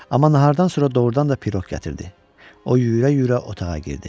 Amma nahardan sonra doğrudan da piroq gətirdi, o yüyürə-yüyürə otağa girdi.